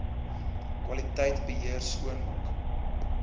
kwaliteit beheer skoonmaak